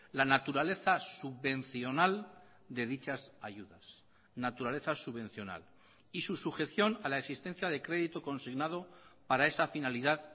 la naturaleza subvencional de dichas ayudas naturaleza subvencional y su sujeción a la existencia de crédito consignado para esa finalidad